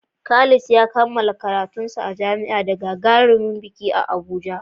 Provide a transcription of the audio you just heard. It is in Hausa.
Khalid ya yi bikin kammala karatunsa na jami'a da gagarumin biki a Abuja.